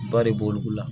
Ba de b'olu la